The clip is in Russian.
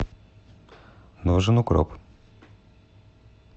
нужен укроп